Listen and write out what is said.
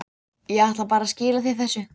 Ég ætlaði bara að skila þér þessu.